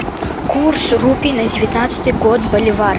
курс рупий на девятнадцатый год боливар